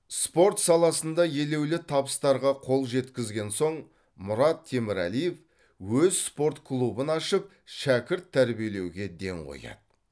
спорт саласында елеулі табыстарға қол жеткізген соң мұрат темірәлиев өз спорт клубын ашып шәкірт тәрбиелеуге ден қояды